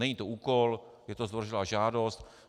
Není to úkol, je to zdvořilá žádost.